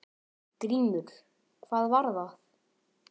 GRÍMUR: Hvað var það?